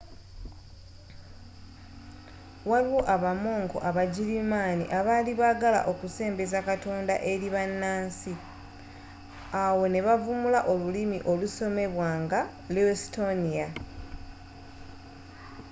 waliwo abamonko abagirimaani abaali baagala okusembeza katonda eri bannansi awo ne bavumbula olulimi olusomebwa nga luestonia